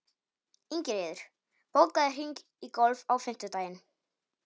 Ingiríður, bókaðu hring í golf á fimmtudaginn.